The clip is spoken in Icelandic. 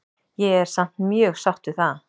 Ég er samt mjög sátt við það.